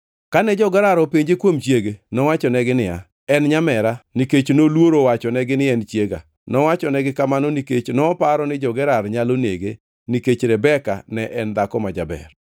Kane jo-Gerar openje kuom chiege, nowachonegi niya, “En nyamera, nikech noluoro wachonegi ni en chiega. Nowachonegi kamano nikech noparo ni jo-Gerar nyalo nege nikech Rebeka ne en dhako ma jaber.”